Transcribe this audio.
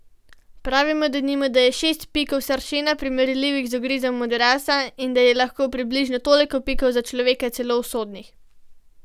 Pravijo, denimo, da je šest pikov sršena primerljivih z ugrizom modrasa in da je lahko približno toliko pikov za človeka celo usodnih.